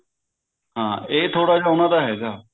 ਹਾਂ ਇਹ ਥੋੜਾ ਜਿਹਾ ਉਹਨਾਂ ਦਾ ਹੈਗਾ